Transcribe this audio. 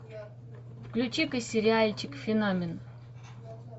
включи как сериальчик феномен